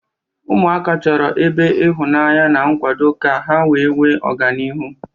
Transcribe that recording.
Ụmụaka chọrọ ebe ịhụnanya na nkwado ka ha wee nwee ọganihu.